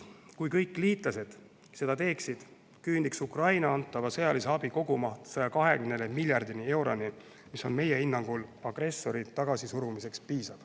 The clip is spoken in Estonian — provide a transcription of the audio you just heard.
Kui kõik liitlased seda teeksid, küündiks Ukrainale antava sõjalise abi kogumaht 120 miljardi euroni, mis on meie hinnangul piisav agressori tagasisurumiseks.